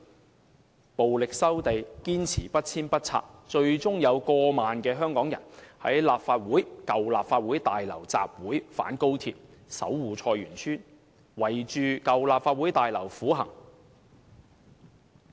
即使被人以暴力收地，他們仍堅持不遷不拆，最終過萬名香港人在舊立法會大樓外參加反高鐵、守護菜園村的集會，圍繞舊立法會大樓苦行。